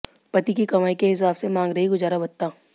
पति की कमाई के हिसाब से मांग रही गुजारा भत्ता